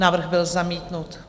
Návrh byl zamítnut.